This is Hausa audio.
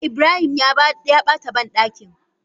Ibrahim ya bata bandakin.